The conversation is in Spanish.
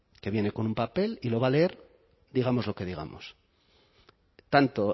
que viene con un papel y lo va a leer digamos lo que digamos tanto